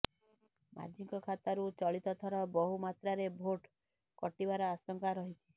ମାଝୀଙ୍କ ଖାତାରୁ ଚଳିତଥର ବହୁ ମାତ୍ରାରେ ଭୋଟ୍ କଟିବାର ଆଶଙ୍କା ରହିଛି